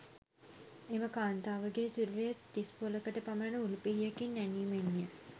එම කාන්තාවගේ සිරුරේ තිස්පොළකට පමණ උල් පිහියකින් ඇනීමෙන්ය.